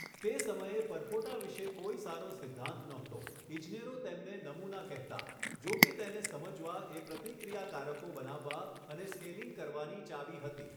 તે સમયે પરપોટા વિશે કોઈ સારો સિદ્ધાંત નહોતો ઇજનેરો તેમને નમૂના કહેતા જોકે તેને સમજવા એ પ્રતિક્રિયાકારકો બનાવવા અને સ્કેલિંગ કરવાની ચાવી હતી.